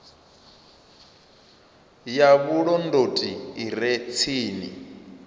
ya vhulondoti i re tsini